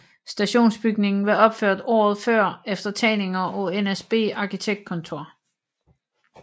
Stationsbygningen var opført året før efter tegninger af NSB Arkitektkontor